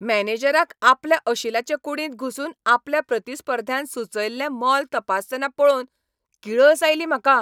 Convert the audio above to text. मॅनेजराक आपल्या अशिलाचे कुडींत घुसून आपल्या प्रतिस्पर्ध्यान सुचयल्लें मोल तपासतना पळोवन किळस आयली म्हाका.